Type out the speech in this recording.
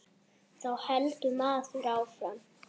Þá heldur maður áfram.